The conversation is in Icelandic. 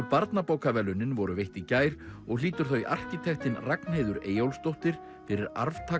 barnabókaverðlaunin voru veitt í gær og hlýtur þau arkitektinn Ragnheiður Eyjólfsdóttir fyrir